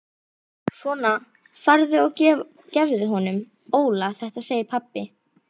Svona farðu og gefðu honum Óla þetta segir pabbi.